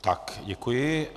Tak děkuji.